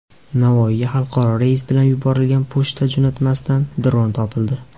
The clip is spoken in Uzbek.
Navoiyga xalqaro reys bilan yuborilgan pochta jo‘natmasidan dron topildi.